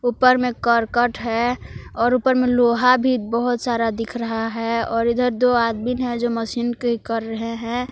ऊपर में करकट है और ऊपर में लोहा भी बहुत सारा दिख रहा है और इधर दो आदमीन है जो मशीन के कर रहे हैं।